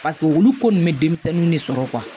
Paseke olu ko ninnu bɛ denmisɛnninw de sɔrɔ